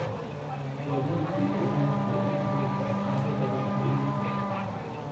Gaadiidkii ayaa noqday mid liita meelo badan oo miyi ah.